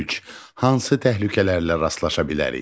Üç: Hansı təhlükələrlə rastlaşa bilərik?